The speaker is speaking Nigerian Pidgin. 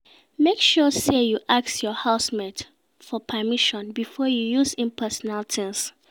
Make sure say you ask your housemate for permission before you use in personal things